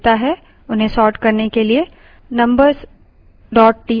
अब sort पूरे number को देखता है उन्हें sort करने के लिए